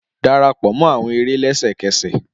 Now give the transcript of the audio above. Darapọ mọ awọn ere lẹsẹkẹsẹ!